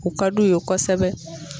U ka d'u ye kosɛbɛ.